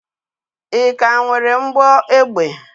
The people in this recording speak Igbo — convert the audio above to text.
Ị ka nwere mgbọ egbe?